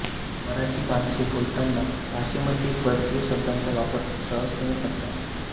मराठी माणसे बोलताना भाषेमध्ये परकीय शब्दांचा वापर सहजतेने करतात